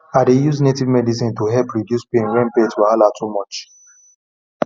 i dey use native medicine to help reduce pain when birth wahala too much